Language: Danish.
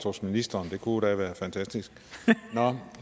hos ministeren det kunne da være fantastisk nå